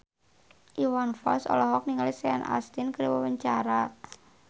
Iwan Fals olohok ningali Sean Astin keur diwawancara